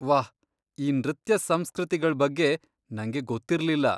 ವಾಹ್, ಈ ನೃತ್ಯ ಸಂಸ್ಕೃತಿಗಳ್ ಬಗ್ಗೆ ನಂಗೆ ಗೊತ್ತಿರ್ಲಿಲ್ಲ.